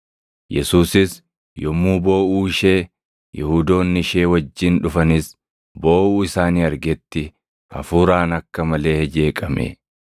Yesuusis yommuu booʼuu ishee, Yihuudoonni ishee wajjin dhufanis booʼuu isaanii argetti hafuuraan akka malee jeeqame; ni dhiphates.